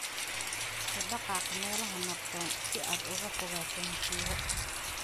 U dhaqaaq meelaha nabdoon si aad uga fogaato musiibo.""